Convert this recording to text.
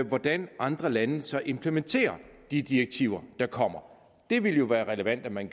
hvordan andre lande så implementerer de direktiver der kommer det ville jo være relevant at man